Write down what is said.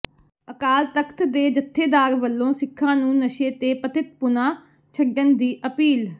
ਅਕਾਲ ਤਖ਼ਤ ਦੇ ਜਥੇਦਾਰ ਵੱਲੋਂ ਸਿੱਖਾਂ ਨੂੰ ਨਸ਼ੇ ਤੇ ਪਤਿਤਪੁਣਾ ਛੱਡਣ ਦੀ ਅਪੀਲ